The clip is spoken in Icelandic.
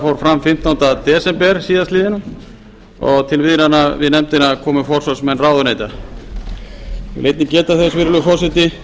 fór áfram fjórtánda desember síðastliðnum til viðræðna við nefndina komu forsvarsmenn ráðuneyta ég vil einnig geta þess virðulegi forseti